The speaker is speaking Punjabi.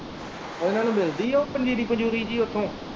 ਉਹਨਾਂ ਨੂੰ ਮਿਲਦੀ ਹੈ ਪੰਜੀਰੀ ਪੰਜੁਰੀ ਜਿਹੀ ਉੱਥੋਂ।